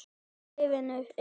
Í liðinu eru